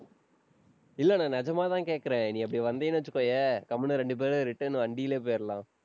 இல்லை, நான் நிஜமாதான் கேட்கிறேன். நீ அப்படி வந்தேன்னு வச்சுக்கோயேன் கம்முனு இரண்டு பேரும் return வண்டியிலேயே போயிரலாம்